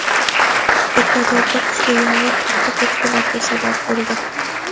Ekvadorda kuchli yomg‘ir katta ko‘chkilarga sabab bo‘ldi.